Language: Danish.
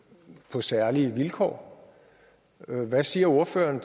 på særlige vilkår hvad siger ordføreren